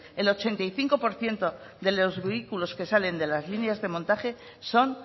el ochenta y cinco por ciento de los vehículos que salen de las líneas de montaje son